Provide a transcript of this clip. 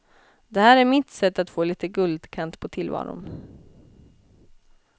Det här är mitt sätt att få lite guldkant på tillvaron.